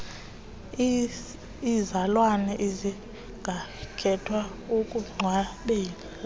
iizalwane zingakhetha ukungcwabela